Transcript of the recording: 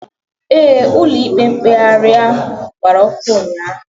Éè, Ụlọ ikpe mkpegharị gbara ọkụ ụnyaahụ